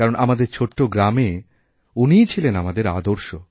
কারণ আমাদের ছোট্ট গ্রামে উনিইছিলেন আমাদের আদর্শ